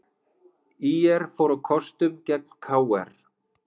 ÍR fór á kostum gegn KR